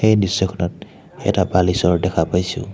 এই দৃশ্যখনত এটা বালিচৰ দেখা পাইছোঁ।